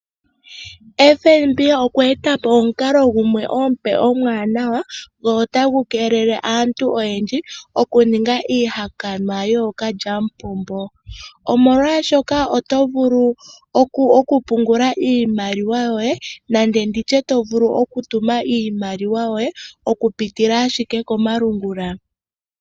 FNB okweeta po omukalo gumwe omupe omwaanawa, go otagu keelele aantu oyendji okuninga iihakanwa yookalyamupombo omolwaashoka oto vulu okupungula iimaliwa yoye nande nditye to vulu okutuma iimaliwa yoye okupitila ashike komalungula.